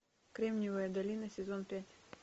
кремневая долина сезон пять